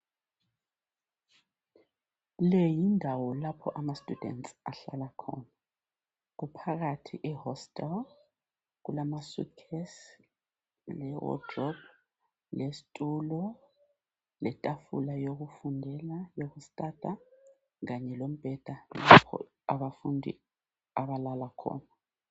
Le yindawo lapho abafundi abahlala khona. Kumphakathi e hostel kulama suitcase, le wardrobe, lesitulo, letafula yokufundela yokustudy kanye lombheda abafundi abalala khona